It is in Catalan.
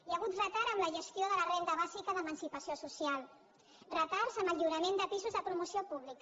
hi ha hagut retard en la gestió de la renda bàsica d’emancipació social retards en el lliurament de pisos de promoció pública